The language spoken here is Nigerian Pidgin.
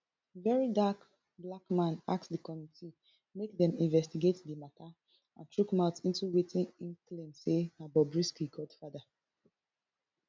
verydarkblackman ask di committee make dem investigate di mata and chook mouth into wetin im claim say na bobrisky godfather